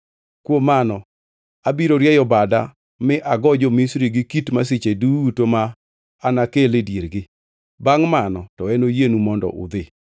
Kuom mano, abiro rieyo bada mi agoo jo-Misri gi kit masiche duto ma anakel e diergi. Bangʼ mano, to enoyienu mondo udhi.